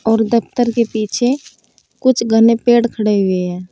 और दफ्तर के पीछे कुछ घने पेड़ खड़े हुए हैं।